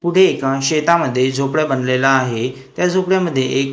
पुढे एका शेतामध्ये झोपडा बांधलेला आहे त्या झोपड्या मध्ये एक--